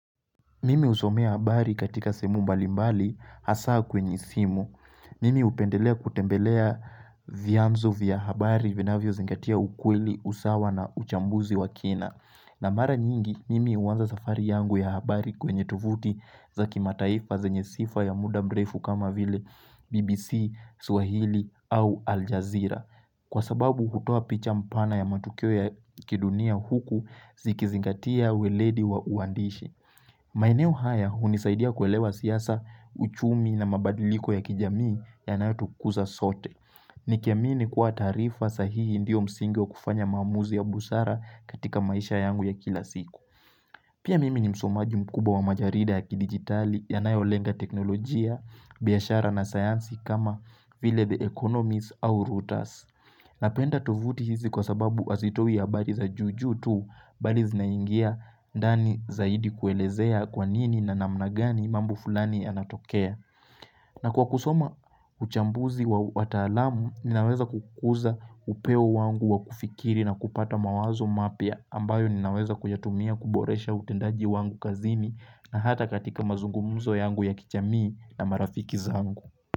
Mimi usomea habari katika semu mbalimbali hasaa kwenye simu. Mimi hupendelea kutembelea vya mzo vya habari vina vyo zingatia ukweli, usawa na uchambuzi wa kina. Na mara nyingi, mimi uwanza safari yangu ya habari kwenye tuvuti zakimataifa zenye sifa ya muda mrefu kama vile BBC, Swahili au Aljazeera. Kwa sababu, hutoa picha mpana ya matukio ya kidunia huku zikizingatia weledi wa uandishi. Maeneo haya unisaidia kuelewa siyasa, uchumi na mabadiliko ya kijamii yanayotu kuza sote. Nikiamini kwa tarifa sahihi ndiyo msingi wakufanya mamuzi ya busara katika maisha yangu ya kila siku. Pia mimi ni msomaji mkuba wa majarida ya kidigitali yanayolenga teknolojia, biyashara na sayansi kama vile the economies au routers. Napenda tuvuti hizi kwa sababu hazitoi ya habali za juju tu bali zinaingia ndani zaidi kuelezea kwanini na namnagani mambu fulani anatokea. Na kwa kusoma uchambuzi wa watalamu ninaweza kukuza upewo wangu wa kufikiri na kupata mawazo mapia ambayo ninaweza kujatumia kuboresha utendaji wangu kazini na hata katika mazungumuzo yangu ya kichamii na marafiki zangu.